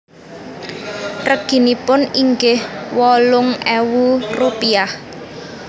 Reginipun inggih wolung ewu rupiah